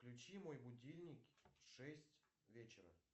включи мой будильник в шесть вечера